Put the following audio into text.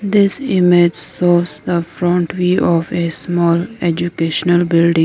this image shows a front view of a small educational building.